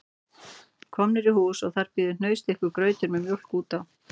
Komnir í hús og þar bíður hnausþykkur grautur með mjólk út á